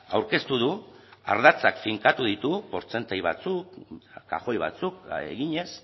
aurkeztu du ardatzak finkatu ditu portzentaia batzuk kajoi batzuk eginez